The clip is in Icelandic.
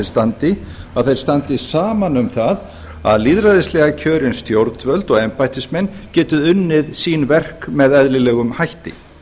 standa að þeir standi saman um það að lýðræðislega kjörin stjórnvöld og embættismenn geti unnið sín verk með eðlilegum hætti